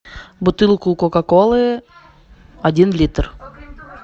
бутылку кока колы один литр